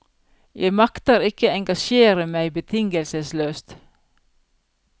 Jeg makter ikke engasjere meg betingelsesløst.